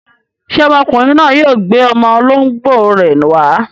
Ṣé ọmọkùnrin náà yóò gbé ọmọ olóńgbò rẹ̀ wá?